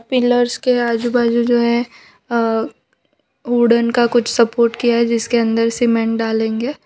Pillars के आजू बाजू जो है अ वुडन का कुछ सपोर्ट किया जिसके अंदर सीमेंट डालेंगे।